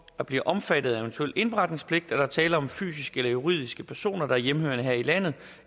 at blive omfattet af en eventuel indberetningspligt at der er tale om fysiske eller juridiske personer der er hjemmehørende her i landet